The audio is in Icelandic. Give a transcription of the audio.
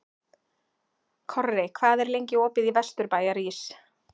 Korri, hvað er lengi opið í Vesturbæjarís?